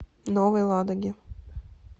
новой ладоги